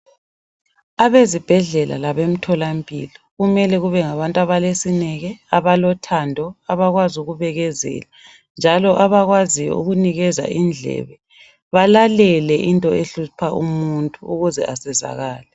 Abezibhedlela labemtholampilo kumele kubengabantu abalesineke, abalothando, abakwazi ukubekezela njalo abakwaziyo ukunikeza indlebe. Balalele into ehlupha umuntu ukuze esizakale.